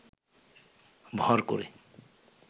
ভর করে